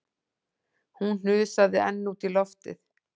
Hún hnusaði enn út í loftið